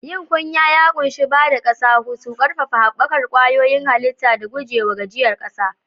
Yin kunya ya ƙunshi ba da ƙasa hutu, ƙarfafa haɓakar kwayoyin halitta, da guje wa gajiyar ƙasa.